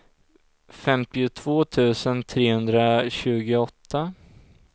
femtiotvå tusen trehundratjugoåtta